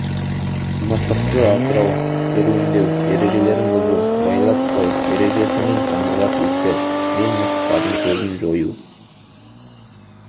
мысықты асырау серуендеу ережелерін бұзу байлап ұстау ережесі мен қаңғыбас иттер мен мысықтардың көзін жою